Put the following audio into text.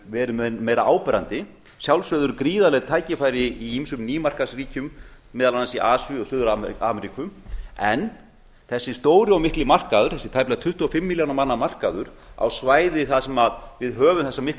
verið meira áberandi að sjálfsögðu eru gríðarleg tækifæri í ýmsum nýmarkaðsríkjum meðal annars í asíu og suður ameríku en þessi stóri og mikli markaður þessi tæplega tuttugu og fimm milljóna manna markaður á svæði þar sem við höfum þessa miklu